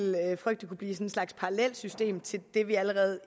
frygte kunne blive en slags parallelt system til det vi allerede